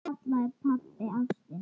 Það kallaði pabbi ástina.